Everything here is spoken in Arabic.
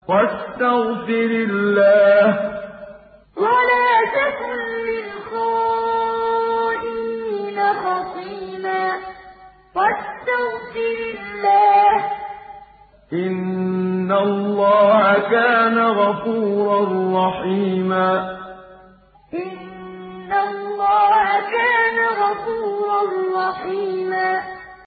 وَاسْتَغْفِرِ اللَّهَ ۖ إِنَّ اللَّهَ كَانَ غَفُورًا رَّحِيمًا وَاسْتَغْفِرِ اللَّهَ ۖ إِنَّ اللَّهَ كَانَ غَفُورًا رَّحِيمًا